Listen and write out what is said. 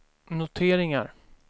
noteringar